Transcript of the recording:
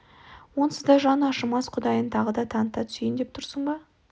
онсыз да жаны ашымас құдайын тағы да таныта түсейін деп тұрсың ба